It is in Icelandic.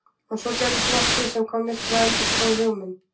En svo gerðist nokkuð sem kom mér til að endurskoða hug minn.